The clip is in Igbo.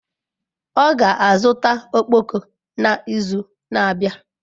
Ọ ga-azụta ọkpọkọ n'izu na-abịa.